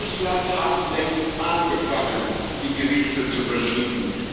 Russland hat längst angefangen, die Gewichte zu verschieben.